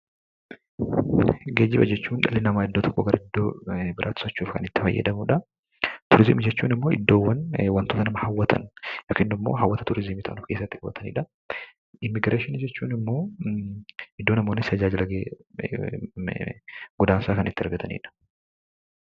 Geejjiba jechuun dhalli namaa iddoo tokkoo iddoo biraatti socho'uuf kan itti fayyadamudha. Turizimii jechuun ammoo iddoowwan wantoota nama hawwatan yookiin ammoo hawwata turizimii ta'uudhaan itti boqotanidha. Immigreeshinii jechuun ammoo iddo namoonni tajaajila godaansaa itti argatanidha.